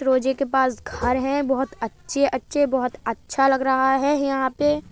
रोजे के पास घर हैं बहोत अच्छे-अच्छे बहोत अच्छा लग रहा है यहाँ पे ।